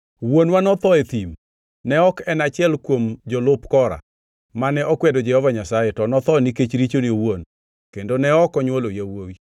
“Wuonwa notho e thim. Ne ok en achiel kuom jolup Kora, mane okwedo Jehova Nyasaye, to notho nikech richone owuon kendo ne ok onywolo yawuowi.